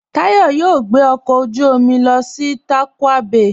Táyọ̀ yóò gbẹ ọkọ ojú omi lọ sí Tàkwa Bày